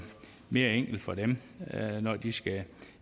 mere enkelt for dem når de skal